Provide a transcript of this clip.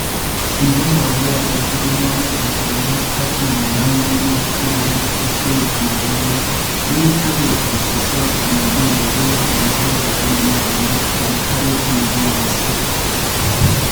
Inde mbolea en keringonikab bandek ak ing'ol ak ng'ung'unyek si koriip kesweek komalalyo. Miin ak ituch keswoot anan Inde kurere en kebeberta nemi bandiat en karit negoolse